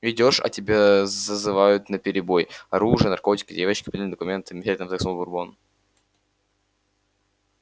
идёшь а тебя зазывают наперебой оружие наркотики девочки поддельные документы мечтательно вздохнул бурбон